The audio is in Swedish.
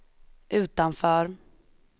utanför